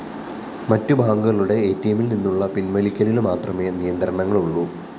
മറ്റു ബാങ്കുകളുടെ എടിഎമ്മില്‍ നിന്നുള്ള പിന്‍വലിക്കലിനു മാത്രമേ നിയന്ത്രണങ്ങളുള്ളു